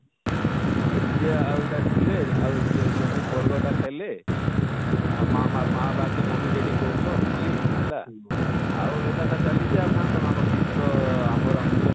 "ହଁ dj ଆଉ ଇଟା ସୁନଲେ ଆଉ chuamin bargar ଟା ଖାଇଲେ ଆଉ ମା ମା ମାଁ ବାପା କେ mummy daddy କହୁଛନ ଖାଲି